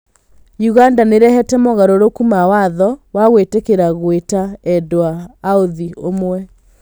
Ũganda nĩrehete moogarũrũku ma watho wa gwĩtĩkiria gũita endwa aũthĩ ũmwe